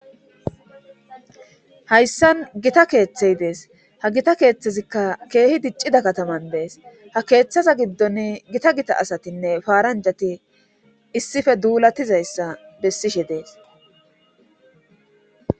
Hayssan gita keeththey dees ha gita keeththezikka keehi diccida kataman dees ha keeththaza giddon gita gita asatinne faaranjati issife duulatizayssa bessishe dees.